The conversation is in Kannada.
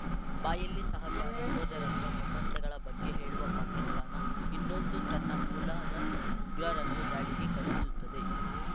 ಬಾಯಲ್ಲಿ ಸಹಕಾರ ಸೋದರತ್ವ ಸಂಬಂಧಗಳ ಬಗ್ಗೆ ಹೇಳುವ ಪಾಕಿಸ್ತಾನ ಇನ್ನೊಂದು ತನ್ನ ಮೂಲದ ಉಗ್ರರನ್ನು ದಾಳಿಗೆ ಕಳುಹಿಸುತ್ತದೆ